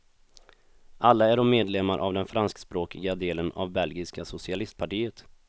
Alla är de medlemmar av den franskspråkiga delen av belgiska socialistpartiet.